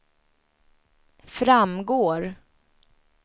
framgår